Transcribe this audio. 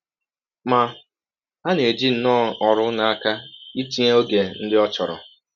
Ma, ha na - eji nnọọ ọrụ n’aka ịtịnye ọge ndị ọ chọrọ.